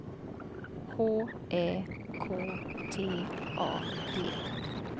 H Ä K T A D